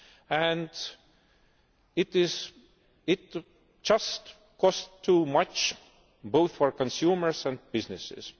And it just costs too much, both for consumers and businesses.